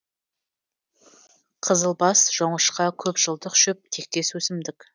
қызылбас жоңышқа көп жылдық шөп тектес өсімдік